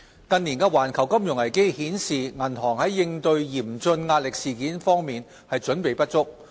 近年的環球金融危機顯示，銀行在應對嚴峻壓力事件方面準備不足。